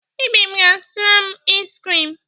Ibim ga-azụtara m iz krim.